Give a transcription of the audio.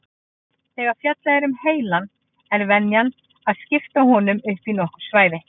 Þegar fjallað er um heilann er venjan að skipta honum upp í nokkur svæði.